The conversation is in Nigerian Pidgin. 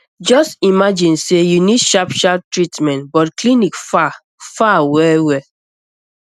just imagine say you need sharp sharp treatment but clinic far far well well